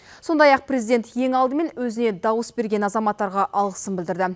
сондай ақ президент ең алдымен өзіне дауыс берген азаматтарға алғысын білдірді